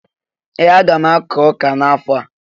Ee! Aga m akụ ọka n'afọ a.